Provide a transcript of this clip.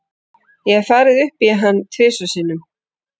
Ég hef farið upp í hann tvisvar sinnum.